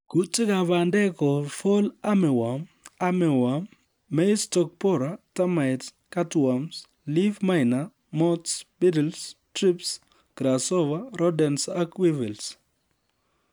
Kuutikab bandek kou Fall Armyworm, Armyworm, Maize stalk borer ,Termites ,Cutworms ,Leaf miner, Moths, Beetles ,Thrips, Grasshopper, Rodents ak weevils